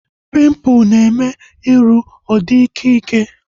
Pimpụl na-eme iru ọ dị ịkẹ́ ịkẹ́